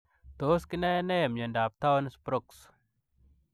Tos kinae nee miondoop Taons Broks ?